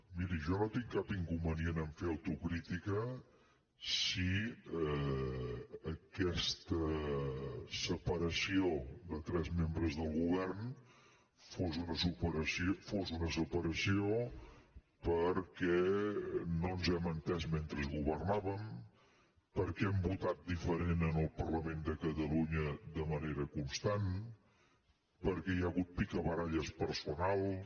miri jo no tinc cap inconvenient a fer autocrítica si aquesta separació de tres membres del govern fos una separació perquè no ens hem entès mentre governàvem perquè hem votat diferent en el parlament de catalunya de manera constant perquè hi ha hagut picabaralles personals